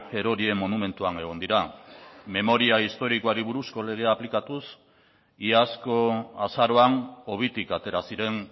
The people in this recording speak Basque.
erorien monumentuan egon dira memoria historikoari buruzko legea aplikatuz iazko azaroan hobitik atera ziren